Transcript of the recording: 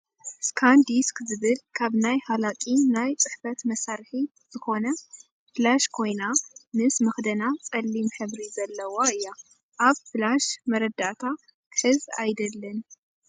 ስካንዲስኽ ዝብል ካብ ናይ ሃላቂ ናይ ፅሕፈት መሳርሒ ዝኮነ ፍለሽ ኮይና ምስ መኽደና ፀሊም ሕብሪ ዘለዋ እያ ። ኣብ ፍለሽ መረዳእታ ክሕዝ ኣይደልን።